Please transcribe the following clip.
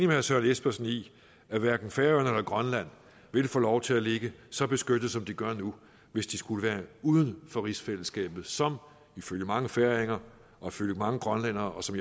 herre søren espersen i at hverken færøerne eller grønland ville få lov til at ligge så beskyttet som de gør nu hvis de skulle være uden for rigsfællesskabet som ifølge mange færinger og ifølge mange grønlændere som